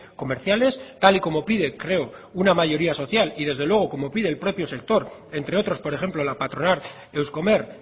comerciales tal y como pide creo una mayoría social y desde luego como pide el propio sector entre otros por ejemplo la patronal euskomer